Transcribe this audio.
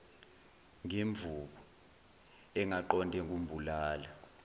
ngemvubu engaqonde kumbulala